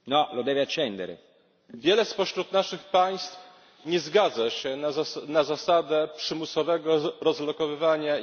Wiele spośród naszych państw nie zgadza się na zasadę przymusowego rozlokowywania imigrantów w Europie.